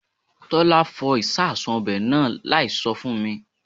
Tọ́lá fọ ìsasùn ọbẹ̀ náà láì sọ fún mi